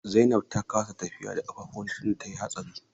Zainab ta kasa tafiya da ƙafafunta tunda tayi hatsarin.